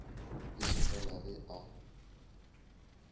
e se fela ge a